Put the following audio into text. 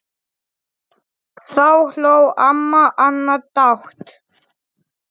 Takk fyrir allt, þín systir.